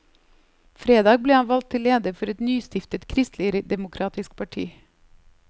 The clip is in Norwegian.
Fredag ble han valgt til leder for et nystiftet kristeligdemokratisk parti.